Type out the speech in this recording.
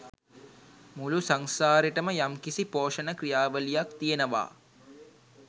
මුළු සංසාරෙටම යම්කිසි පෝෂණ ක්‍රියාවලියක් තියෙනවා.